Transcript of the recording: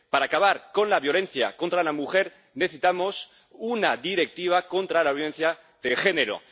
Para acabar con la violencia contra la mujer necesitamos una directiva contra la violencia de género.